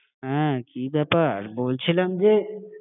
হ্যাঁ, কি ব্যাপার? বলছিলাম যে